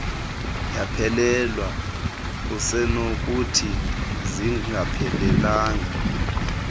yaphelelwa usenokuthi zingaphelanga